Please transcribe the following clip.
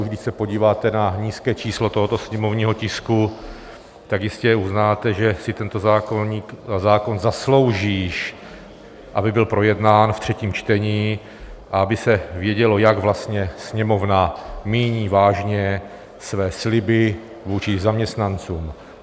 Už když se podíváte na nízké číslo tohoto sněmovního tisku, tak jistě uznáte, že si tento zákon zaslouží, aby byl projednán v třetím čtení, aby se vědělo, jak vlastně Sněmovna míní vážně své sliby vůči zaměstnancům.